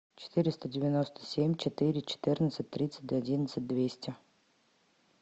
четыреста девяносто семь четыре четырнадцать тридцать одиннадцать двести